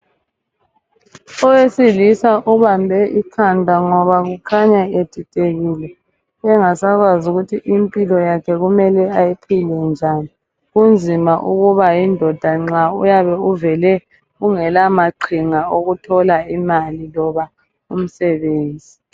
Owesilisa ubambe ikhanda ngoba kukhanya edidekile engasakwazi ukuthi impilo yakhe kumele ayiphile njani. Kunzima ukuba yindoda nxa uyabe uvele ungela maqhinga okuthola imali loba umsebenzi.